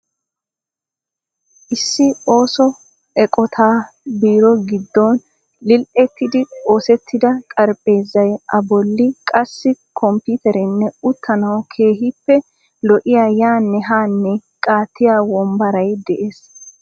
Issi osso eqqotaa beero gidoon lili'ettidi oosettida xarapheezay a bolli qassi komppitereenne uttaanawu keehiippe lo'iya yaane haane qaattiya wombaray dees.